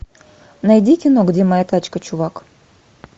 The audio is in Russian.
найди кино где моя тачка чувак